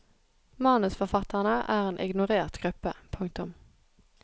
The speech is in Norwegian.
Manusforfatterne er en ignorert gruppe. punktum